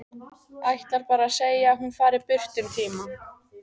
Ætlar bara að segja að hún fari burt um tíma.